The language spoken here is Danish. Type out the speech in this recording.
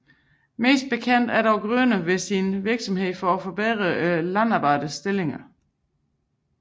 Mest bekendt er dog Grüner ved sin virksomhed for forbedring af Landarbejdernes stilling